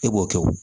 E b'o kɛ o